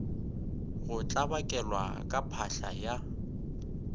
go tlabakelwa ka phahla ya